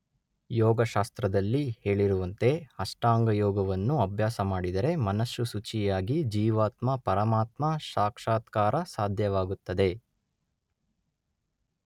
ಯೋಗಶಾಸ್ತ್ರದಲ್ಲಿ ಹೇಳಿರುವಂತೆ ಅಷ್ಟಾಂಗಯೋಗವನ್ನು ಅಭ್ಯಾಸ ಮಾಡಿದರೆ ಮನಸ್ಸು ಶುಚಿಯಾಗಿ ಜೀವಾತ್ಮ ಪರಮಾತ್ಮ ಸಾಕ್ಷಾತ್ಕಾರ ಸಾಧ್ಯವಾಗುತ್ತದೆ.